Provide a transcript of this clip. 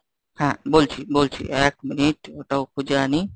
হ্যাঁ বলছি বলছি এক minute ওটাও খুজে আনি।